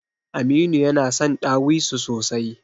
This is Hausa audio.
Aminu yana son ɗawisu sosai.